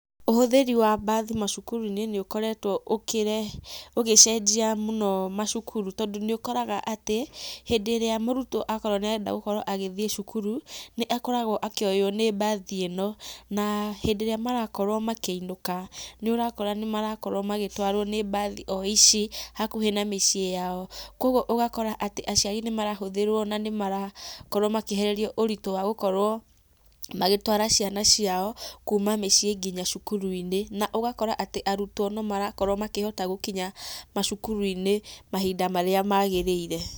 Ũhũthĩri wa mbathi macukuru-inĩ nĩ ũkoretwo ũgĩcenjia mũno macukuru, tondũ nĩ ũkoraga atĩ, hĩndĩ íĩĩa ũrutwo akorwo atĩ nĩ arenda gũkorwo agĩthiĩ cukuru, nĩ akoragwo akĩoywo nĩ mbathi ĩno, na hĩndĩ ĩríĩ marakorwo makĩinũka, nĩ ũrakora nĩ marakorwo magĩtwarwo nĩ mbathi o ici hakuhĩ na mĩciĩ yao, kogwo ũgakora atĩ aciari nĩ marahũthĩrwo na nĩ marakorwo makĩehererio ũritũ wa gũkorwo magĩtwara ciana ciao kuma mĩciĩ nginya cukuru-inĩ, na ũgakora atĩ arutwo no marakorwo makĩhota gũkinya macukuru-inĩ mahinda marĩa magĩrĩire.